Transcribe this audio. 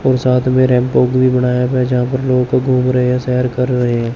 और साथ में रैंप वॉक भी बनाया गया जहां पर लोग घूम रहे है सैर कर रहे है।